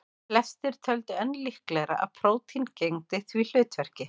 Flestir töldu enn líklegra að prótín gegndu því hlutverki.